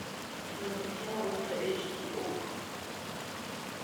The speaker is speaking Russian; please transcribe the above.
кинокартина ультра эйч ди окко